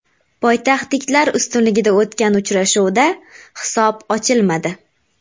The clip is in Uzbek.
Poytaxtliklar ustunligida o‘tgan uchrashuvda hisob ochilmadi.